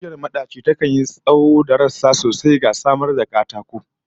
Bishiyar madaci takan yi tsawon da rassa sosai, ga samar da katako